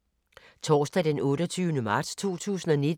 Torsdag d. 28. marts 2019